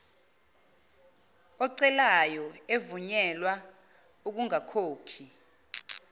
ocelayo evunyelwa ukungakhokhi